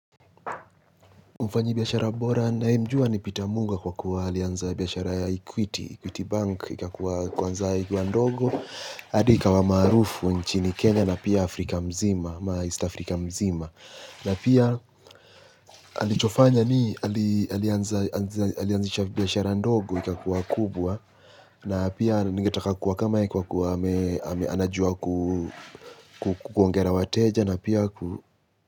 Mfanyi biyashara bora na hii mjua ni pita munga kwa kuwa alianza biyashara ya Ikwiti, Ikwiti Bank, ikakua kwanza ikuwa ndogo, adi ikawa marufu nchini Kenya na pia Afrika mzima, ama ista Afrika mzima. Na pia alichofanya ni alianza alianzisha biyashara ndogo ikakua kubwa na pia ningetaka kuwa kama kwa kuwa kwa kwa anajua kuongea wateja na pia ku.